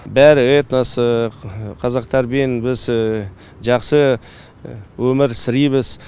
бәрі этнос қазақ тәрбиені біз жақсы өмір сырейміз